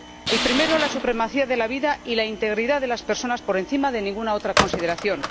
El primero, la supremacía de la vida y la integridad de las personas por encima de ninguna otra consideración